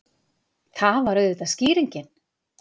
Það var auðvitað skýringin!